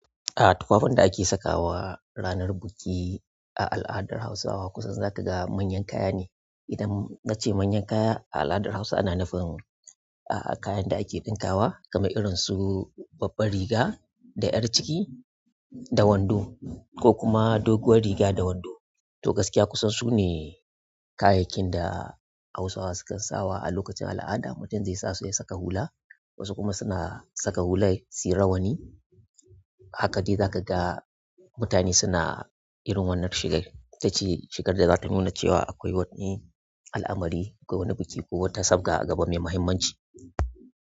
Tufafin da ake sakawa ranar biki a al'adar Hausawa kusan za ka ga manyan kaya ne. Idan na ce manyan kaya, a al'adar Hausa ana nufin, kayan da ake ɗinkawa kamar irin su babbar riga da 'yar ciki da wando ko kuma doguwar riga da wando. To gaskiya kusan su ne kayayyakin da Hausawa sukan sawa a lokacin al'ada. Mutum zai sa su ya saka hula, wasu kuma suna saka hulai su yi rawani. Hakadai za ka ga mutane suna irin wannan shigar. Ita ce shigar da zata nuna cewa akwai wani al'amari ko wani biki ko wata sabga a gaba mai muhimmanci.